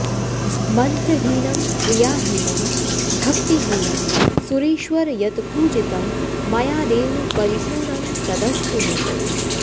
मन्त्रहीनं क्रियाहीनं भक्तिहीनं सुरेश्वर यत्पूजितं मयादेव परिपूर्णं तदस्तु मे